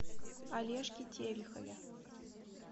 олежке терехове